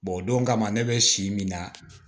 o don kama ne bɛ si min na